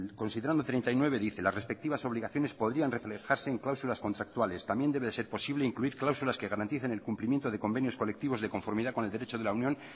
considerando treinta y nueve dice las respectivas obligaciones podrían reflejarse en cláusulas contractuales también debe de ser posible incluir cláusulas que garanticen el cumplimiento de convenios colectivos de conformidad con el derecho de la unión